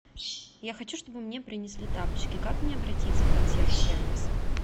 я хочу чтобы мне принесли тапочки как мне обратиться в консьерж сервис